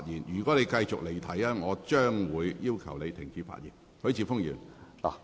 如果你繼續離題，我會要求你停止發言。